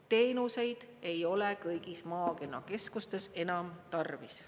Teenuseid ei ole kõigis maakonnakeskustes enam tarvis.